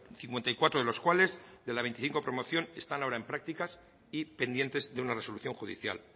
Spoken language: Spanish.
cincuenta y cuatro de los cuales de la veinticinco promoción están ahora en prácticas y pendientes de una resolución judicial